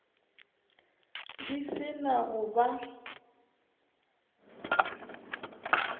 di se na go ba